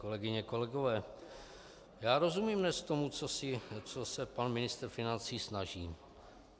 Kolegyně, kolegové, já rozumím dnes tomu, co se pan ministr financí snaží.